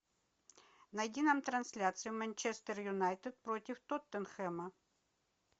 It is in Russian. найди нам трансляцию манчестер юнайтед против тоттенхэма